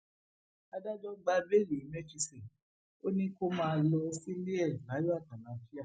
adájọ gba béèlì emefíse ò ní kó máa lọ sílé e láyọ àtàlàáfíà